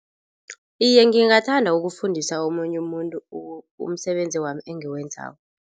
Iye, ngingathanda ukufundisa omunye umuntu umsebenzi wami engiwenzako.